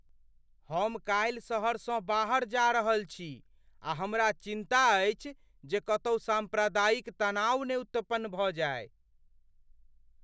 हम कालि सहरसँ बाहर जा रहल छी आ हमरा चिन्ता अछि जे कतहु साम्प्रदायिक तनाव ने उत्पन्न भऽ जाइ।